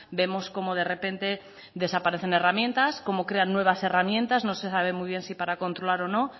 vemos como de repente desaparecen herramientas como crean nuevas herramientas no sé sabe muy bien si para controlar o no